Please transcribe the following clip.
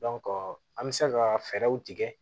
an bɛ se ka fɛɛrɛw tigɛ